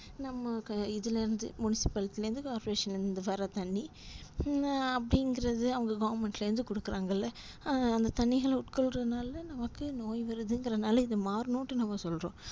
நம்ம இதுல இருந்து municipality லருந்து corporation ல வர தண்ணி அஹ் அப்டின்றது அவங்க government ல இருந்து குடுக்குறாங்கள்ள அந்த தண்ணிகள உட்கொள்ரதுனால நமக்கு நோய் வருதுன்குறனால இது மார்னும்டு நம்ம சொல்றோம்